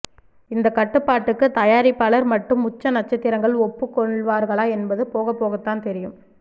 இந்த கட்டுப்பாட்டுக்கு தயாரிப்பாளர்கள் மட்டும் உச்ச நட்சத்திரங்கள் ஒப்புக் கொள்வார்களா என்பது போகப்போகத்தான் தெரியும்